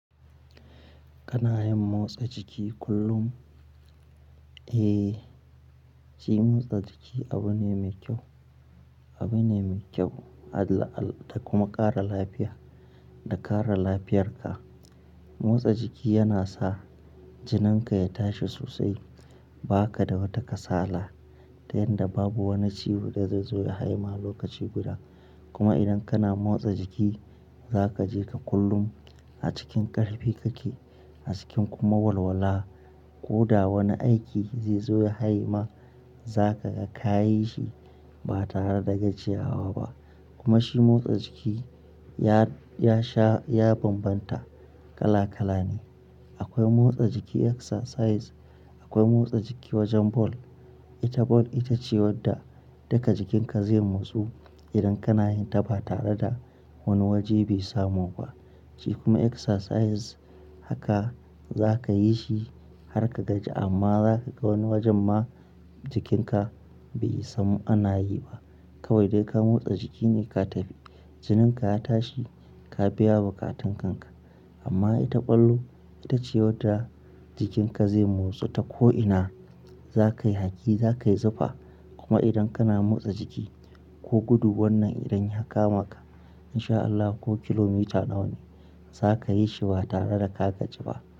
Kana yin motsa jiki kullum? Eh, shi motsa jiki abu ne mai kyau, abu ne mai kyau da kuma ƙara lafiya, da kare lafiyarka. Motsa jiki yana sa jininka ya tashi sosai, ba ka da wata kasala, ta yanda babu wani ciwo da zai zo ya haima lokaci guda. Kuma idan kana motsa jiki, za ka ji ka kullum a cikin ƙarfi kake, a cikin kuma walwala. Ko da wani aiki zai zo ya hayema, za ka ga ka yi shi ba tare da gajiyawa ba. Kuma shi motsa jiki, ya sha ya bambanta kala kala ne. Akwai motsa jiki exercise, akwai motsa jiki wajen ball. Ita ball ita ce wadda duka jikinka zai motsu idan kana yin ta ba tare da wani waje be samu ba. Shi kuma exercise haka za ka yi shi har ka gaji amma za ka ga wani wajen ma jikinka be san ana yi ba. Kawai dai ka motsa jiki ne ka tafi. Jininka ya tashi, ka biya bukatun kanka. Amma ita ball, ita ce wadda jikinka zai motsu ta ko'ina. Za ka yi haki, za ka yi zufa. Kuma idan kana motsa jiki ko gudu wannan idan ya kama ka, in sha Allah ko kilomita nawa ne za ka yi shi ba tare da ka gaji ba.